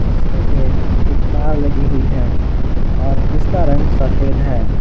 जिसके पे एक कार लगी हुई है और इसका रंग सफेद है।